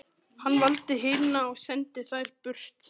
Hann valdi hina og sendi þær burt.